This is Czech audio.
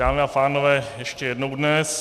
Dámy a pánové, ještě jednou dnes.